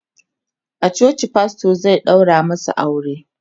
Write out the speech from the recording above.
a coci pastor zai ɗaura masu aure